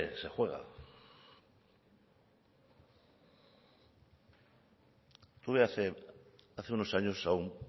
se juega tuve hace unos años a un